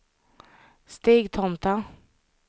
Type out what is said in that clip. Stigtomta